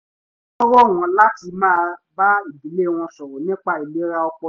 wọ́n rọ̀ wọ́n láti máa bá ìdílé wọn sọ̀rọ̀ nípa ìlera ọpọlọ